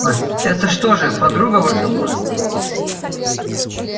а это что же подруга ваша была